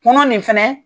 Kɔnɔ nin fɛnɛ